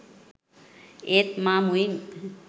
ඒත් මා මුවින්